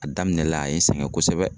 A daminɛ la a ye n sɛgɛn kosɛbɛ